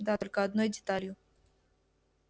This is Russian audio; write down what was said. да только одной деталью